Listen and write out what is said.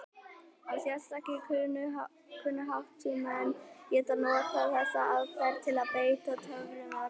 Og sérstakir kunnáttumenn geta notað þessa aðferð til að beita töfrum eða galdri.